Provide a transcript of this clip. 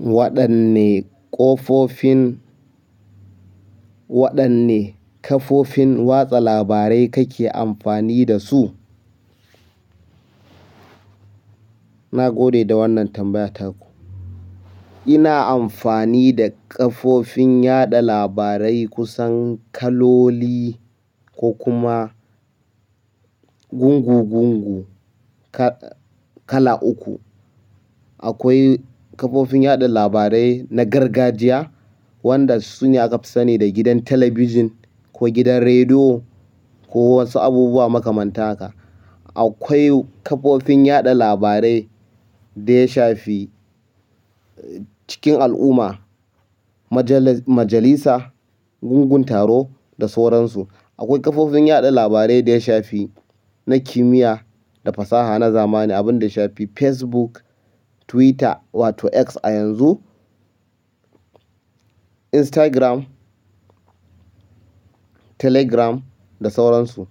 Waɗanne ƙofofin, waɗanne kafofin watsa labarai kake amfani da su? Na gode da wannan tambayar taku. Ina amfani da kafofin yaɗa labarai kusan kaloli ko kuma gungugungu kala uku. Akwai kafofin yaɗa labarai na gargajiya, waɗan su ne akafi sani da gidan talabijin ko gidan rediyo ko wasu abubuwa makamanta haka. Akwai kafofin yaɗa labarai da ya shafi cikin al'umma, majalisa, gungun taro da sauransu. Akwai kafofin yaɗa labarai da ya shafi na kimiyya da fasaha na zamani, abin da ya shafi Facebook, Twitter wato X a yanzu, Instagram, Telegram da sauransu.